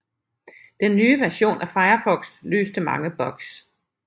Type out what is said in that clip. Den nye version af Firefox løste mange bugs